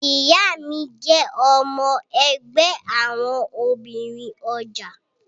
Ìyá mi jẹ́ ọmọ ẹgbẹ́ àwọn obìnrin ọjà